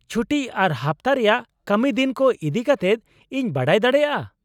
ᱪᱷᱩᱴᱤ ᱟᱨ ᱦᱟᱯᱛᱟ ᱨᱮᱭᱟᱜ ᱠᱟᱹᱢᱤ ᱫᱤᱱ ᱠᱚ ᱤᱫᱤ ᱠᱟᱛᱮᱫ ᱤᱧ ᱵᱟᱰᱟᱭ ᱫᱟᱲᱮᱭᱟᱜᱼᱟ ?